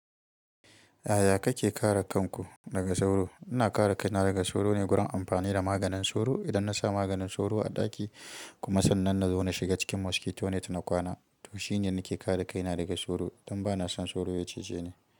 Yaya kake kare kanku daga sauro? Ina kare kaina daga sauro ne, gurin amfani da maganin sauro. Idan na sa maganin sauro a ɗaki kuma sannan nazo na shiga cikin mosquito net na kwana, to shine yadda nake kare kaina daga sauro. Don ba na son sauro ya cije ni.